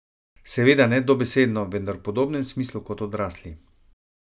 Seveda ne dobesedno, vendar v podobnem smislu kot odrasli.